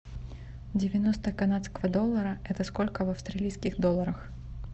девяносто канадского доллара это сколько в австралийских долларах